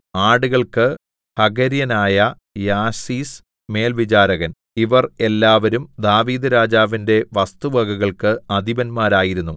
ആടുകൾക്ക് ഹഗര്യനായ യാസീസ് മേൽവിചാരകൻ ഇവർ എല്ലാവരും ദാവീദ്‌ രാജാവിന്റെ വസ്തുവകകൾക്ക് അധിപതിമാരായിരുന്നു